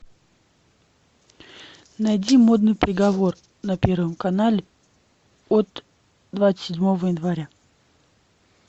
найди модный приговор на первом канале от двадцать седьмого января